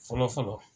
Fɔlɔ fɔlɔ